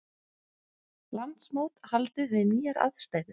Landsmót haldið við nýjar aðstæður